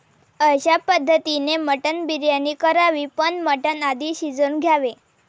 अश्या पद्धतीने मटण बिर्याणी करावी पण मटण आधी शिजवून घ्यावे.